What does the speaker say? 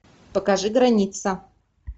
покажи граница